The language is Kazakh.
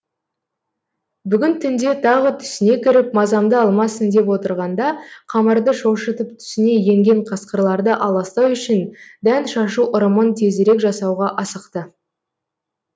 бүгін түнде тағы түсіне кіріп мазамды алмасын деп отырғанда қамарды шошытып түсіне енген қасқырларды аластау үшін дән шашу ырымын тезірек жасауға асықты